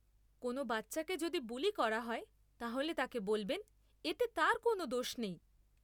কোন বাচ্চাকে যদি বুলি করা হয় তাহলে তাকে বলবেন এতে তার কোন দোষ নেই।